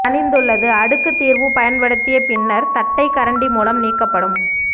தணிந்துள்ளது அடுக்கு தீர்வு பயன்படுத்திய பின்னர் தட்டைக்கரண்டி மூலம் நீக்கப்படும்